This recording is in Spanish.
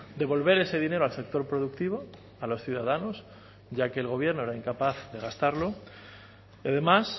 devolver ese dinero al sector productivo a los ciudadanos ya que el gobierno era incapaz de gastarlo y además